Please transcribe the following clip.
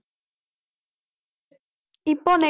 இப்போ